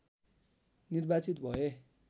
निर्वार्चित भए